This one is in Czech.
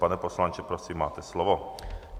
Pane poslanče, prosím, máte slovo.